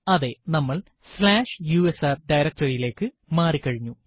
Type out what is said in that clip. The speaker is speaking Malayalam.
അതെ നമ്മൾ സ്ലാഷ് യുഎസ്ആർ directory യിലേക്ക് മാറി കഴിഞ്ഞു